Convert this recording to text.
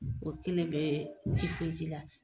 O kelen bɛɛ la.